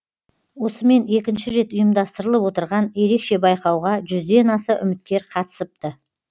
осымен екінші рет ұйымдастырылып отырған ерекше байқауға жүзден аса үміткер қатысыпты